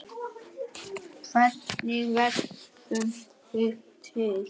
Hvernig verðum við til?